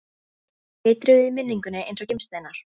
Þeir glitruðu í minningunni eins og gimsteinar.